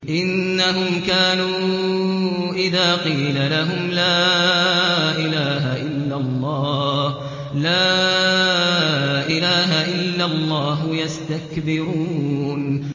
إِنَّهُمْ كَانُوا إِذَا قِيلَ لَهُمْ لَا إِلَٰهَ إِلَّا اللَّهُ يَسْتَكْبِرُونَ